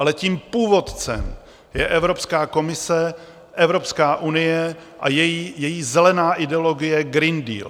Ale tím původcem je Evropská komise, Evropská unie a její zelená ideologie - Green Deal.